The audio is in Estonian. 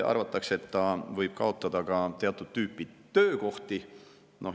Arvatakse, et see võib kaotada ka teatud tüüpi töökohti.